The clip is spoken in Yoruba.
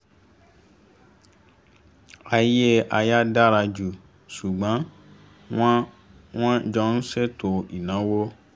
ayé aya dára ju ṣùgbọ́n wọn wọn jọ ń ṣètò ináwó